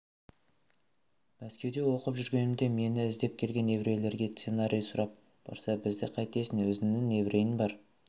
мәскеуде оқып жүргенімде мені іздеп келген еврейлерге сценарий сұрап барса бізді қайтесің өзіңнің еврейің бар